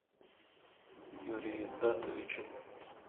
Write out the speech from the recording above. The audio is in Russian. юрий евдатович